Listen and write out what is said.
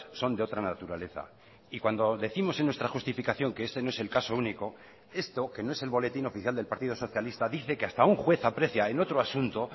son de otra naturaleza y cuando décimos en nuestra justificación que este no es el caso único esto que no es el boletín oficial del partido socialista dice que hasta un juez aprecia en otro asunto